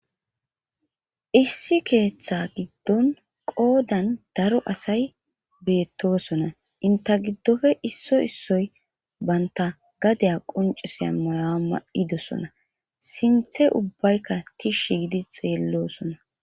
issi keeththa giddon qoodan daro asay beettosona inta giddofe isso issoy banta gadeya quncisiya mayaa ma7idosona sinthe ubbaykka tishi gidi xeelloosona